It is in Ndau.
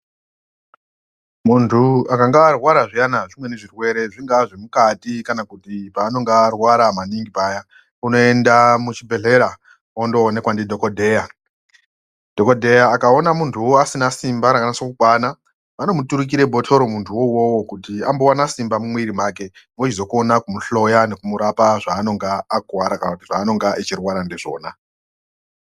Muntu akanga arwara zviyana zvimweni zvirwere zvingaa zvemukati kana kuti paanonga arwara maningi paya, unoenda muzvibhedhlera ondoonekwa ndidhokodheya. Dhokodheya akaona muntuwo asina simba rakatsokukwana, vanomuturikire bhotoro muntu iwowowo kuti ambowana simba mumwiri make kuti vechizokona kumuhloya nekumurapa zvaanenge akuwara kana kuti zvaanenge achirwara ndizvona.